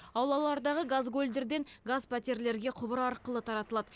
аулалардағы газгольдерден газ пәтерлерге құбыр арқылы таратылады